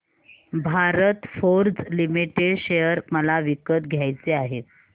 Bharat Forge Limited share मला विकत घ्यायचे आहेत